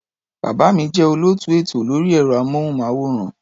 Bàbá mi jẹ́ olóòtú ètò lórí ẹ̀rọ-amóhùnmáwòrán.